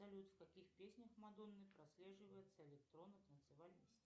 салют в каких песнях мадонны прослеживается электронно танцевальный стиль